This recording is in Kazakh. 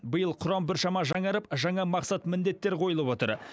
биыл құрам біршама жаңарып жаңа мақсат міндеттер қойылып отыр